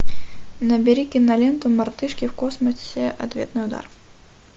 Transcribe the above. набери киноленту мартышки в космосе ответный удар